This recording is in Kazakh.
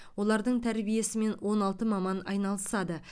олардың тәрбиесімен он алты маман айналысады